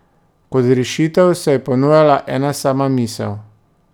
Kot rešitev se je ponujala ena sama misel.